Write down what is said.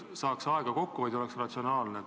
Saaks aega kokku hoida ja oleks üldse ratsionaalne.